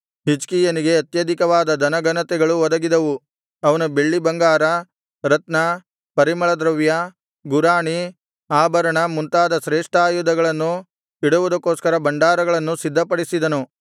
ಹಿಜ್ಕೀಯನಿಗೆ ಅತ್ಯಧಿಕವಾದ ಧನ ಘನತೆಗಳು ಒದಗಿದವು ಅವನು ಬೆಳ್ಳಿಬಂಗಾರ ರತ್ನ ಪರಿಮಳ ದ್ರವ್ಯ ಗುರಾಣಿ ಆಭರಣ ಮುಂತಾದ ಶ್ರೇಷ್ಠಾಯುಧಗಳನ್ನು ಇಡುವುದಕ್ಕೋಸ್ಕರ ಭಂಡಾರಗಳನ್ನು ಸಿದ್ಧಪಡಿಸಿದನು